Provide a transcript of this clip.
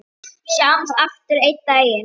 Sjáumst aftur einn daginn.